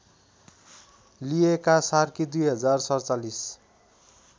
लिएका सार्की २०४७